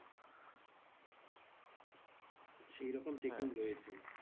সেইরকম checking রয়েছে।